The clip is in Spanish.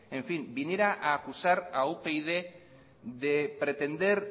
viniera a acusar a upyd de pretender